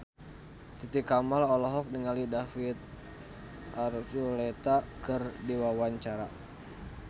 Titi Kamal olohok ningali David Archuletta keur diwawancara